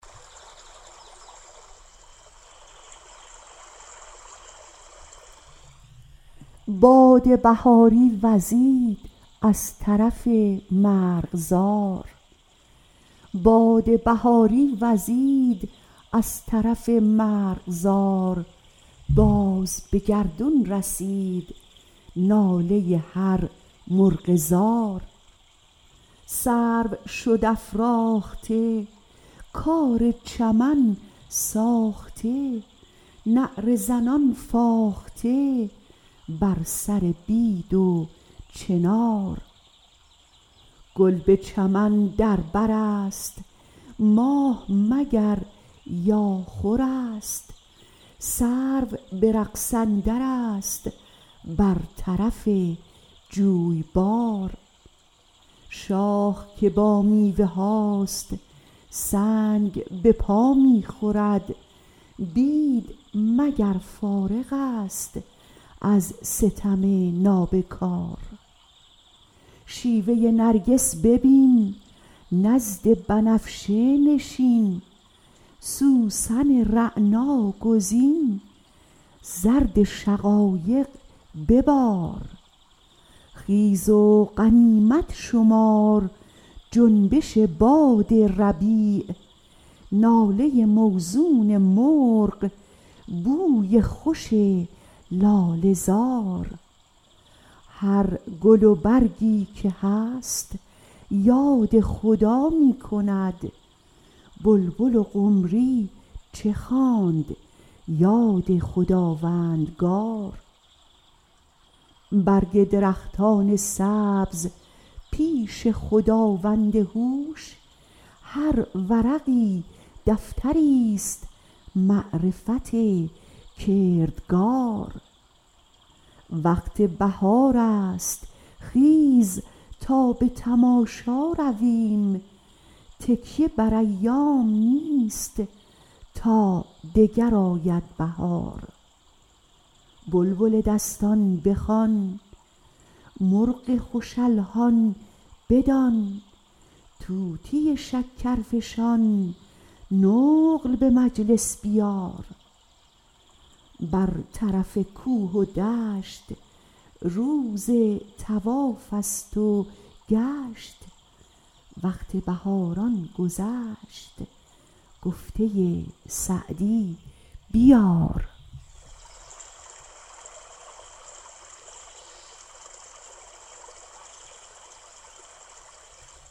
باد بهاری وزید از طرف مرغزار باز به گردون رسید ناله هر مرغ زار سرو شد افراخته کار چمن ساخته نعره زنان فاخته بر سر بید و چنار گل به چمن در بر است ماه مگر یا خور است سرو به رقص اندرست بر طرف جویبار شاخ که با میوه هاست سنگ به پا می خورد بید مگر فارغ ست از ستم نابکار شیوه نرگس ببین نزد بنفشه نشین سوسن رعنا گزین زرد شقایق ببار خیز و غنیمت شمار جنبش باد ربیع ناله موزون مرغ بوی خوش لاله زار هر گل و برگی که هست یاد خدا می کند بلبل و قمری چه خواند یاد خداوندگار برگ درختان سبز پیش خداوند هوش هر ورقی دفتری ست معرفت کردگار وقت بهارست خیز تا به تماشا رویم تکیه بر ایام نیست تا دگر آید بهار بلبل دستان بخوان مرغ خوش الحان بدان طوطی شکرفشان نقل به مجلس بیار بر طرف کوه و دشت روز طواف ست و گشت وقت بهاران گذشت گفته سعدی بیار